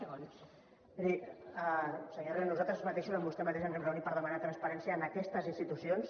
miri senyor herrera nosaltres mateixos amb vostè mateix ens hem reunit per demanar transparència en aquestes institucions